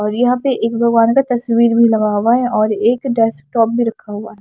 और यहां पे एक भगवान का तस्वीर भी लगा हुआ है और एक डेस्कटॉप भी रखा हुआ है।